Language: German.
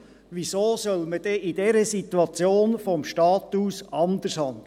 Wieso soll man denn in dieser Situation vonseiten des Staates anders handeln?